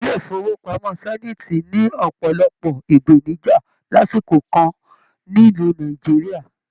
ilé ifowopamọ Zenith ni ọpọlọpọ ipenija lásìkò kàn nílu Nàìjíríà.